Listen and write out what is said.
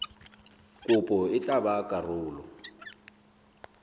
kopo e tla ba karolo